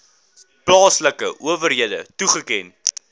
plaaslike owerhede toeken